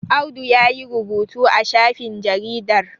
Audu ya yi rubutu a shafin jaridar